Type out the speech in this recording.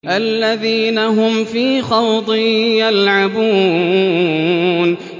الَّذِينَ هُمْ فِي خَوْضٍ يَلْعَبُونَ